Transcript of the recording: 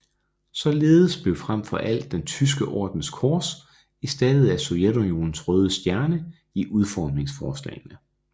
Således blev frem for alt den Tyske Ordens kors erstattet af Sovjetunionens røde stjerne i udformningsforslagene